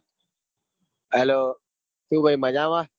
Hello શું ભાઈ મજામાં?